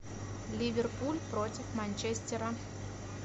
ливерпуль против манчестера